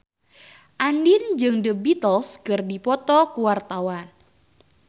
Andien jeung The Beatles keur dipoto ku wartawan